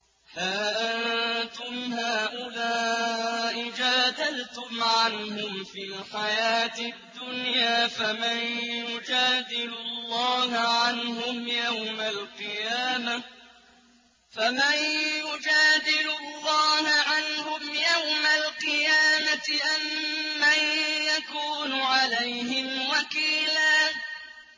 هَا أَنتُمْ هَٰؤُلَاءِ جَادَلْتُمْ عَنْهُمْ فِي الْحَيَاةِ الدُّنْيَا فَمَن يُجَادِلُ اللَّهَ عَنْهُمْ يَوْمَ الْقِيَامَةِ أَم مَّن يَكُونُ عَلَيْهِمْ وَكِيلًا